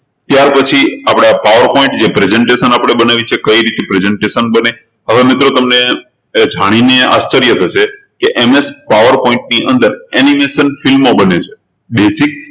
ત્યારપછી આપણા power point જે presentation આપણે બનાવીએ છે કઈ રીતે presentation બને હવે મિત્રો તમને જાણીને આશ્ચર્ય થશે કે MSpowerpoint ની અંદર animation film બને છે basic